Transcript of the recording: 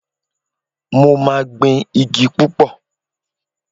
Mo máa gbin igi púpọ̀